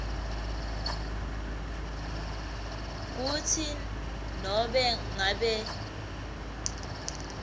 kutsi nobe ngabe